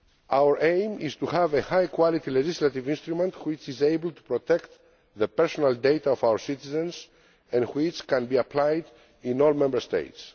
Our aim is to have a high quality legislative instrument which is able to protect the personal data of our citizens and which can be applied in all Member States.